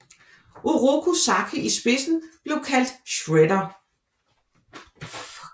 Oroku Saki i spidsen blev kaldt Shredder